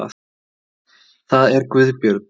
Það er Guðbjörn.